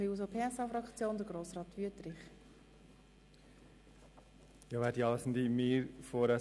Für die SP-JUSO-PSA-Fraktion hat Grossrat Wüthrich das Wort.